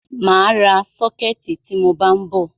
Mà á ra sọ́kẹ̀tì tí mọ bá ń bọ̀.